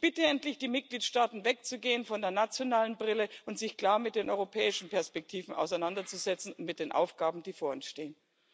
Ich bitte die Mitgliedstaaten, endlich wegzugehen von der nationalen Brille und sich klar mit den europäischen Perspektiven auseinanderzusetzen und mit den Aufgaben, die vor uns stehen.